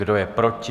Kdo je proti?